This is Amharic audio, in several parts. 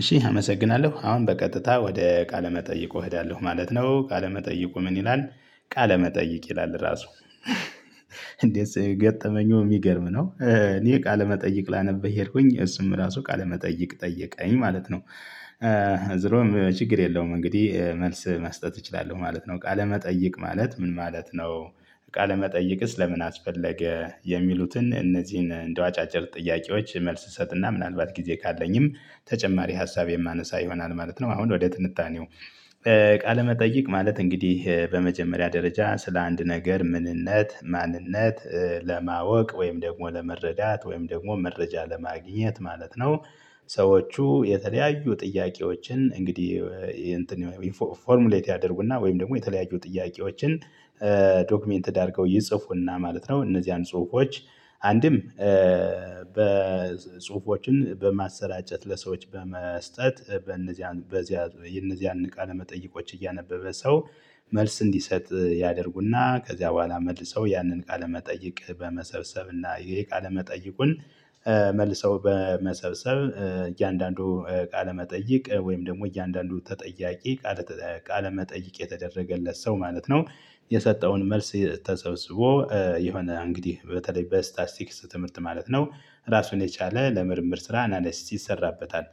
እሺ አመሰግናለሁ። አሁን በቀጥታ ወደ ቃለ መጠይቅ እሄዳለሁ ማለት ነው። ቃለ መጠይቁ ምን ይላል "ቃለ መጠይቅ ይላል" ራሱ እንዴት ሰው ገጠመኙ የሚገርም ነው። እኔ ቃለመጠይቅ ላነብ ሄድኩኝ እሱም ራሱ ቃለመጠይቅ ጠየቀኝ ማለት ነው። ዞሮም ችግር የለውም እንግዲህ መልስ መስጠት እችላለሁ ማለት ነው። ቃለመጠየቅ ማለት ምን ማለት ነው? ቃለመጠየቅስ ለምን አስፈለገ የሚሉትን እነዚህን እንደው አጫጭር ጥያቄዎች መልስ እሰጥና ምናልባት ጊዜ ካለኝም ተጨማሪ ሀሳብ የማነሳ ይሆናል ማለት ነው። አሁን ወደ ትንታኔው ቃለመጠይቅ ማለት እንግዲህ በመጀመሪያ ደረጃ ስለ አንድ ነገር ምንነት ማንነት ለማወቅ ወይም ደግሞ ለመረዳት ወይም ደግሞ መረጃ ለማግኘት ማለት ነው። ሰዎቹ የተለያዩ ጥያቄዎችን እንግዲህ 'ፎርሙሌት' ያደርጉና ወይም ደግሞ የተለያዩ ጥያቄዎችን 'ዶክመንትድ' አድርገው ይጽፉና ማለት ነው እነዚያን ጽሁፎች አንድም በጽሁፎችን በማሰራጨት ለሰዎች በመስጠት በነዚያን በዚያ እነዚያን ቃለ መጠይቆች እያነበበ ሰው መልስ እንዲሰጥ ያደርጉና ከዚያ በኋላ መልሰው ያንን ቃለመጠይቅ በመሰብሰብና የቃለመጠይቁን መልሰው በመሰብሰብ እያንዳንዱ ቃለ መጠይቅ ወይም ደግሞ እያንዳንዱ ተጠያቂ ቃለ ቃለ መጠይቅ የተደረገለት ሰው ማለት ነው የሰጠውን መልስ ተሰብስቦ የሆነ እንግዲህ በተለይ በ'ስታስቲክስ' ትምህርት ማለት ነው ራሱን የቻለ ለምርምር ስራ አናለሲስ ይሰራበታል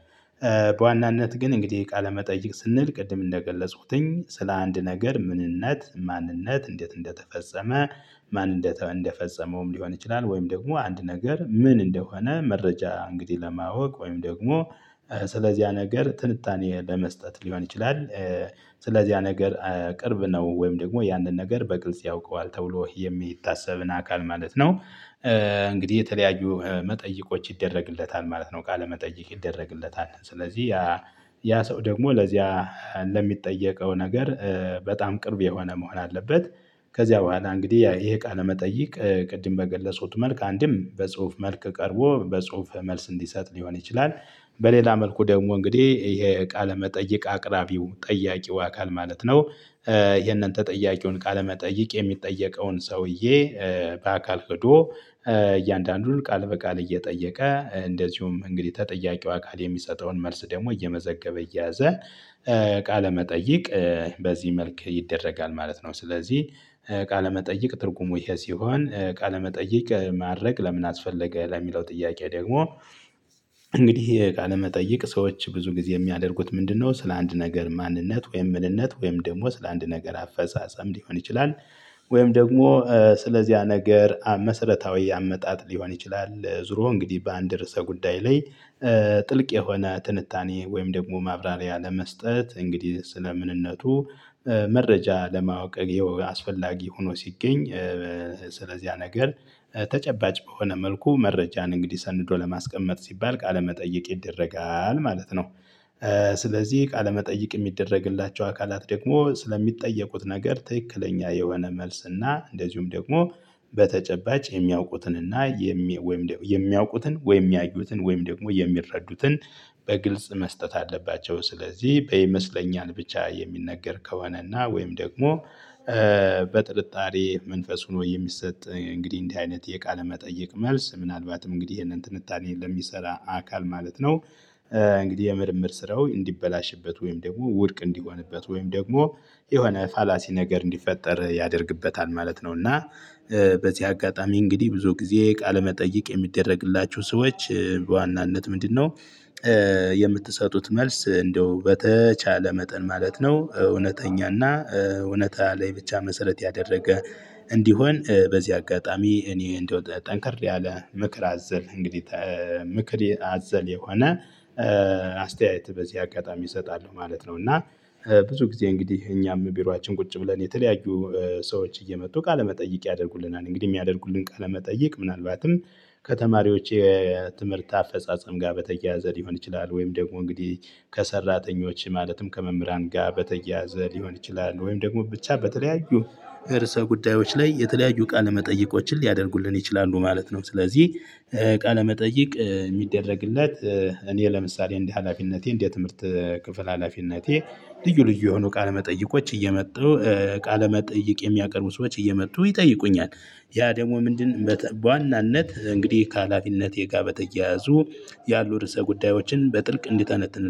በዋናነት ግን እንግዲህ ቃለመጠይቅ ስንል ቅድም እንደገለጽኩትኝ ስለአንድ ነገር ምንነት ማንነት እንዴት እንደተፈጸመ ማን እንደፈጸመውም ሊሆን ይችላል ወይም ደግሞ አንድ ነገር ምን እንደሆነ መረጃ እንግዲህ ለማወቅ ወይም ደግሞ ስለዚህ ያ ነገር ትንታኔ ለመስጠት ሊሆን ይችላል ስለዚህ ያ ነገር ቅርብ ነው ወይም ደግሞ ያንን ነገር በግልጽ ያውቀዋል ተብሎ የሚታሰብን አካል ማለት ነው። እንግዲህ የተለያዩ መጠይቆች ይደረግለታል ማለት ነው ቃለ መጠይቅ ይደረግለታል። ስለዚህ ያ ያ ሰው ደግሞ ለዚያ እንደሚጠየቀው ነገር በጣም ቅርብ የሆነ መሆን አለበት። ከዚያ በኋላ እንግዲህ ይሄ ቃለ መጠየቅ ቅድም በገለጽኩት መልክ አንድም በጽሁፍ መልክ ቀርቦ በጽሁፍ መልስ እንዲሰጥ ሊሆን ይችላል። በሌላ መልኩ ደግሞ እንግዲህ ይሄ ቃለ መጠየቅ አቅራቢው ጠያቂው አካል ማለት ነው ይሄንን ተጠያቂውን ቃለመጠይቅ የሚጠየቀውን ሰውዬ በአካል ሄዶ እያንዳንዱን ቃል በቃል እየጠየቀ እንደዚሁም እንግዲህ ተጠያቂው አካል ቃል የሚሰጠውን መልስ ደግሞ እየመዘገበ እየያዘ ቃለመጠይቅ በዚህ መልክ ይደረጋል ማለት ነው። ስለዚህ ቃለመጠይቅ ትርጉሙ ይሄ ሲሆን ቃለመጠይቅ ማድረግ ለምን አስፈለገ? ለሚለው ጥያቄ ደግሞ እንግዲህ የቃለ መጠይቅ ሰዎች ብዙ ጊዜ የሚያደርጉት ምንድነው ስለ አንድ ነገር ማንነት ወይም ምንነት ወይም ደግሞ ስለ አንድ ነገር አፈጻጸም ሊሆን ይችላል ወይም ደግሞ ስለዚያ ነገር መሰረታዊ ያመጣጥ ሊሆን ይችላል ዙሮ እንግዲህ በአንድ ርዕሰ ጉዳይ ላይ ጥልቅ የሆነ ትንታኔ ወይም ደግሞ ማብራሪያ ለመስጠት እንግዲህ ስለ ምንነቱ መረጃ ለማወቅ አስፈላጊ ሆኖ ሲገኝ ስለዚህ ያ ነገር ተጨባጭ በሆነ መልኩ መረጃን እንግዲህ ሰንዶ ለማስቀመጥ ሲባል ቃለመጠየቅ ይደረጋል ማለት ነው። ስለዚህ ቃለመጠየቅ የሚደረግላቸው አካላት ደግሞ ስለሚጠየቁት ነገር ትክክለኛ የሆነ መልስ እና እንደዚሁም ደግሞ በተጨባጭ የሚያውቁትን እና የሚ ወይም የሚያውቁትን ወይም ያዩትን ወይም ደግሞ የሚረዱትን በግልጽ መስጠት አለባቸው። ስለዚህ በይመስለኛል ብቻ የሚነገር ከሆነ እና ወይም ደግሞ በጥርጣሬ መንፈስ ሆኖ የሚሰጥ እንግዲህ እንዲህ አይነት የቃለ መጠየቅ መልስ ምናልባትም እንግዲህ ይሄንን ትንታኔ ለሚሰራ አካል ማለት ነው እንግዲህ የምርምር ስራው እንዲበላሽበት ወይም ደግሞ ውድቅ እንዲሆንበት ወይም ደግሞ የሆነ ፋላሲ ነገር እንዲፈጠር ያደርግበታል ማለት ነው እና በዚህ አጋጣሚ እንግዲህ ብዙ ጊዜ ቃለመጠይቅ የሚደረግላቸው ሰዎች በዋናነት ምንድነው የምትሰጡት መልስ እንደው በተቻለ መጠን ማለት ነው እውነተኛና እውነታ ላይ ብቻ መሰረት ያደረገ እንዲሆን በዚህ አጋጣሚ እኔ እንደው ጠንከር ያለ ምክር አዘል እንግዲህ ምክር አዘል የሆነ አስተያየት በዚህ አጋጣሚ እሰጣለሁ ማለት ነው። እና ብዙ ጊዜ እንግዲህ እኛም ቢሮአችን ቁጭ ብለን የተለያዩ ሰዎች እየመጡ ቃለመጠይቅ ያደርጉልናል እንግዲህ የሚያደርጉልን ቃለመጠይቅ ምናልባትም ከተማሪዎች የትምህርት አፈጻጸም ጋር በተያያዘ ሊሆን ይችላል ወይም ደግሞ እንግዲህ ከሰራተኞች ማለትም ከመምህራን ጋር በተያያዘ ሊሆን ይችላል ወይም ደግሞ ብቻ በተለያዩ እርሰ ጉዳዮች ላይ የተለያዩ ቃለ መጠይቆችን ሊያደርጉልን ይችላሉ ማለት ነው። ስለዚህ ቃለ መጠይቅ የሚደረግለት እኔ ለምሳሌ እንደ ሀላፊነቴ እንደ ትምህርት ክፍል ሀላፊነቴ ልዩ ልዩ የሆኑ ቃለ መጠይቆች እየመጡ ቃለመጠይቅ የሚያቀርቡ ሰዎች እየመጡ ይጠይቁኛል ያ ደግሞ ምንድን በዋናነት እንግዲህ ከሀላፊነቴ ጋር በተያያዙ ያሉ ርዕሰ ጉዳዮችን በጥልቅ እንዲተነትን